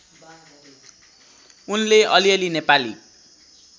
उनले अलिअलि नेपाली